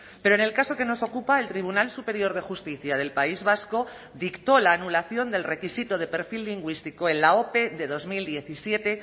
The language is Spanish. pero en el caso que nos ocupa el tribunal superior de justicia del país vasco dictó la anulación del requisito de perfil lingüístico en la ope de dos mil diecisiete